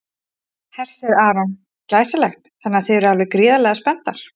Hersir Aron: Glæsilegt, þannig að þið eruð alveg gríðarlega spenntar?